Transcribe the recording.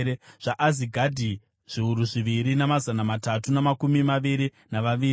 zvaAzigadhi, zviuru zviviri mazana matatu namakumi maviri navaviri;